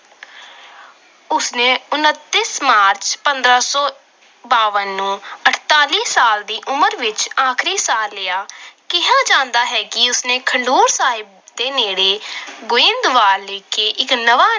ਉਸਨੇ ਉਨਤੀ ਮਾਰਚ, ਪੰਦਰਾਂ ਸੌ ਬਵੰਜਾ ਨੂੰ ਅਡਤਾਲੀ ਸਾਲ ਦੀ ਉਮਰ ਵਿੱਚ ਆਖਰੀ ਸਾਹ ਲਿੱਤਾ। ਕਿਹਾ ਜਾਂਦਾ ਹੈ ਕਿ ਉਸਨੇ ਖਡੂਰ ਸਾਹਿਬ ਨੇੜੇ ਗੋਇੰਦਵਾਲ ਵਿਖੇ ਇੱਕ ਨਵਾਂ